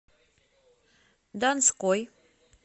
донской